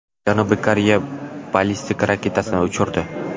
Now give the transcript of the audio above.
Janubiy Koreya o‘z ballistik raketasini uchirdi.